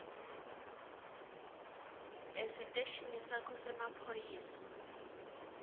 esiteshini sakho semaphoyisa